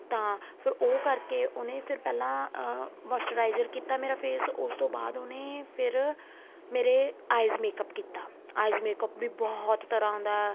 ਤਾਂ ਫ਼ੇਰ ਉਹ ਕਰਕੇ ਉਹਨੇ ਫ਼ਿਰ ਪਹਿਲਾਂ ਅਹ moisturizer ਕੀਤਾ ਮੇਰਾ face ਉਸ ਬਾਅਦ ਉਹਨੇ ਫ਼ੇਰ ਮੇਰੇ eyes makeup ਕੀਤਾ eyes makeup ਵੀ ਬਹੁਤ ਤਰ੍ਹਾਂ ਦਾ ਏ